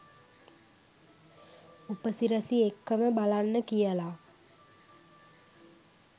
උපසිරැසි එක්කම බලන්න කියලා.